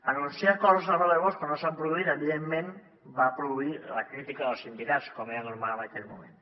anunciar coses de l’ere de bosch quan no s’han produït evidentment va produir la crítica dels sindicats com era normal en aquell moment